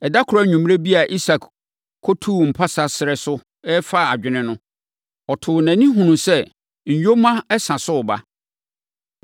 Ɛda koro anwummerɛ bi a Isak kɔtuu mpase srɛ so refa adwene no, ɔtoo nʼani hunuu sɛ nyoma sa so reba.